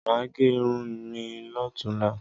Mà á gẹ irun mi lọ́tunla.